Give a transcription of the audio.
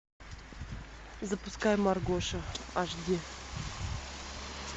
запускай маргоша аш ди